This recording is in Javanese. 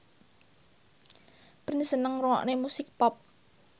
Prince seneng ngrungokne musik pop